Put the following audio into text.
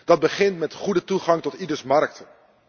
Dat begint met goede toegang tot ieders markten.